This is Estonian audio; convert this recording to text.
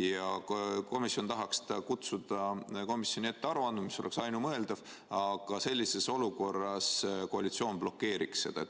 ja komisjon tahaks ta kutsuda komisjoni ette aru andma, mis oleks ainumõeldav, aga sellises olukorras koalitsioon blokeeriks seda.